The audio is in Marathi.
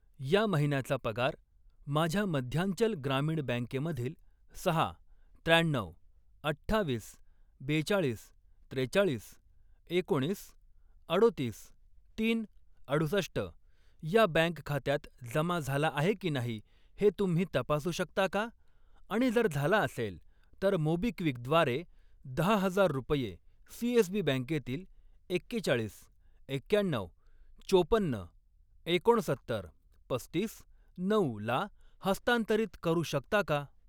या महिन्याचा पगार माझ्या मध्यांचल ग्रामीण बँकेमधील सहा, त्र्याण्णऊ, अठ्ठावीस, बेचाळीस, त्रेचाळीस, एकोणीस, अडोतीस, तीन, अडुसष्ट या बँक खात्यात जमा झाला आहे की नाही हे तुम्ही तपासू शकता का आणि जर झाला असेल, तर मोबिक्विक द्वारे दहा हजार रुपये सीएसबी बँकेतील एक्केचाळीस, एक्क्याण्णऊ, चोपन्न, एकोणसत्तर, पस्तीस, नऊला हस्तांतरित करू शकता का?